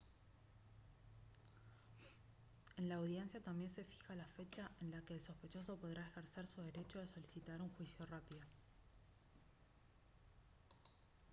en la audiencia también se fija la fecha en la que el sospechoso podrá ejercer su derecho de solicitar un juicio rápido